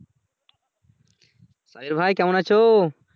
সাহের ভাই কেমন আছো?